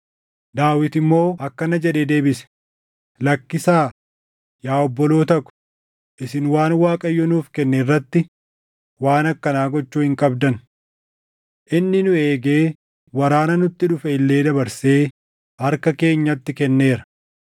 Daawit immoo akkana jedhee deebise; “Lakkisaa, yaa obboloota ko, isin waan Waaqayyo nuuf kenne irratti waan akkanaa gochuu hin qabdan. Inni nu eegee waraana nutti dhufe illee dabarsee harka keenyatti kenneera.